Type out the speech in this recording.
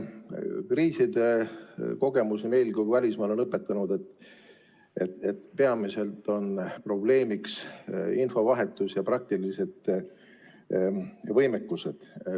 Kriiside kogemus nii meil kui ka välismaal on õpetanud, et peamiselt on probleemiks infovahetus ja praktilised võimekused.